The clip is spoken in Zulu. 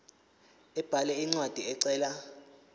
abhale incwadi ecela